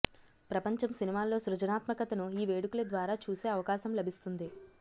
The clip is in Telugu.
ప్రపంచం సినిమాల్లో సృజనాత్మకతను ఈ వేడుకల ద్వారా చూసే అవకాశం లభిస్తుంది